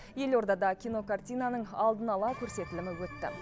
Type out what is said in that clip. елордада кинокартинаның алдын ала көрсетілімі өтті